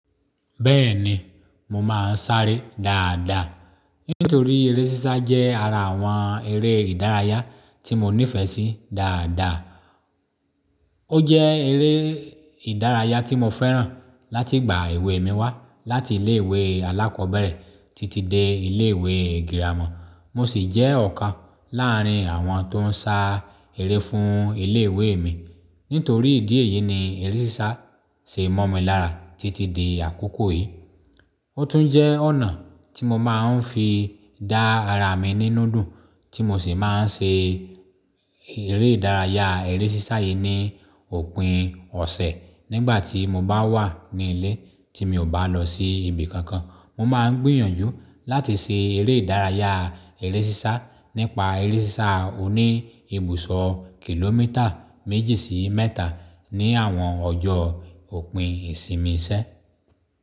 Bẹ́ẹ̀ni, mo máa ń sáré dáadáa. Nítorí eré sísá jẹ́ ara àwọn eré ìdárayá tí mo nífẹ̀ẹ́ sí dáadáa. Ó jẹ́ eré ìdárayá tí mo fẹ́ràn láti ìgbà èwe mi wá láti ilé ìwé alákọ̀ọ́bẹ̀rẹ̀ títí dé ilé ìwé girama. Mo sì jẹ́ ọ̀kan láàrín àwọn tó ń sá eré fún ilé ìwé mi. Nítorí ìdí èyí ni eré sísá ṣe mọ́ mi lára títí dé àkókò yìí. Ó tún jẹ́ ọ̀nà tí mo máa ń fi dá ara mi nínú dùn tí mo sì máa ń ṣe eré ìdárayá eré sísá yìí ní òpin ọ̀sẹ̀ nígbà tí mo bá wà nílé tí mi ò bá lọ sí ibi kankan. Mo máa ń gbìyànjú láti ṣe eré ìdárayá eré sísá nípa eré sísá oní ibùsọ̀ kìlómítà méjì sí mẹ́ta ní àwọn ọjọ́ òpin ìsinmi iṣẹ́.